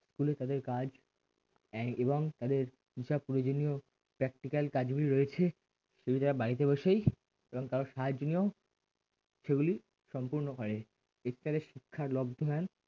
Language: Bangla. school তাদের কাজ এই এবং তাদের হিসাব প্রয়োজনীয় practical কাজগুলি রয়েছে সেগুলি তারা বাড়িতে বসেই এবং কারো সাহায্য নিয়েও সেগুলি সম্পূর্ণ করে শিক্ষার লোকধমান